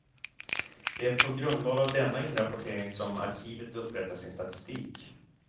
Det är på grundval av denna inrapportering som arkivet upprättar sin statistik.